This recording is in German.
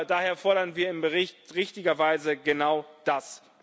Daher fordern wir im Bericht richtigerweise genau das.